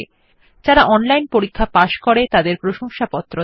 যারা অনলাইন পরীক্ষা পাস করে তাদের প্রশংসাপত্র দেয়